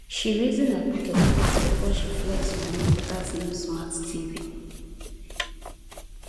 she reason her pocket first before she flex money for that new smart tv